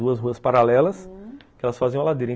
Duas ruas paralelas, hum, que elas faziam a ladeira.